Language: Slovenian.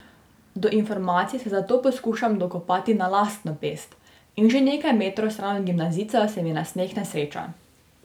Do informacij se zato poskušam dokopati na lastno pest, in že nekaj metrov stran od gimnazijcev se mi nasmehne sreča.